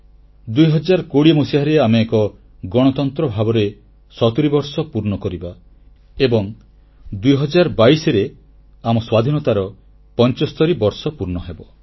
2020 ମସିହାରେ ଆମେ ଏକ ଗଣତନ୍ତ୍ର ଭାବରେ 70 ବର୍ଷ ପୂର୍ଣ୍ଣ କରିବା ଏବଂ 2022ରେ ଆମ ସ୍ୱାଧୀନତାର 75 ବର୍ଷ ପୂର୍ଣ୍ଣ ହେବ